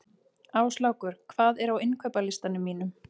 Áslákur, hvað er á innkaupalistanum mínum?